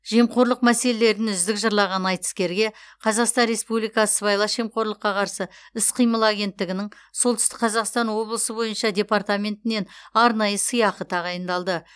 жемқорлық мәселелерін үздік жырлаған айтыскерге қазақстан республикасы сыбайлас жемқорлыққа қарсы іс қимыл агенттігінің солтүстік қазақстан облысы бойынша департаментінен арнайы сыйақы тағайындалды